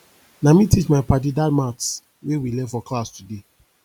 na me teach my paddy dat maths wey we learn for class today